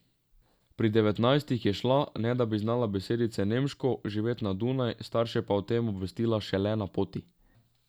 Pri devetnajstih je šla, ne da bi znala besedice nemško, živet na Dunaj, starše pa o tem obvestila šele na poti.